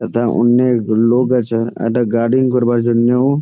যথা অনেক লোক আছে একটা গাড়ি করবার জন্যও ।